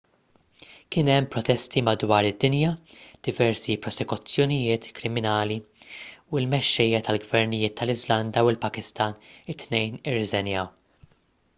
kien hemm protesti madwar id-dinja diversi prosekuzzjonijiet kriminali u l-mexxejja tal-gvernijiet tal-iżlanda u l-pakistan it-tnejn irriżenjaw